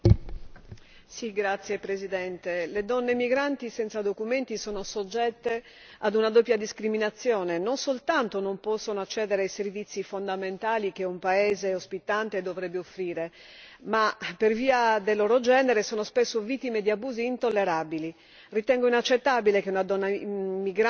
Signora Presidente, le donne migranti senza documenti sono soggette ad una doppia discriminazione non soltanto non possono accedere ai servizi fondamentali che un paese ospitante dovrebbe offrire, ma per via del loro genere sono spesso vittime di abusi intollerabili.